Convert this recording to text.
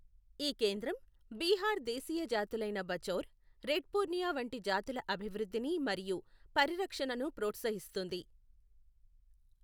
ఈ కేంద్రం బిహార్ దేశీయ జాతులైన బఛౌర్, రెడ్ పూర్ణియా వంటి జాతుల అభివృద్ధిని మరియు పరిరక్షణను ప్రోత్సహిస్తుంది.